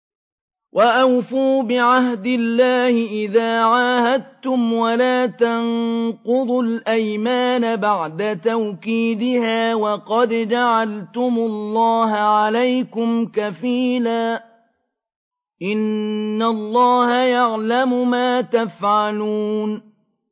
وَأَوْفُوا بِعَهْدِ اللَّهِ إِذَا عَاهَدتُّمْ وَلَا تَنقُضُوا الْأَيْمَانَ بَعْدَ تَوْكِيدِهَا وَقَدْ جَعَلْتُمُ اللَّهَ عَلَيْكُمْ كَفِيلًا ۚ إِنَّ اللَّهَ يَعْلَمُ مَا تَفْعَلُونَ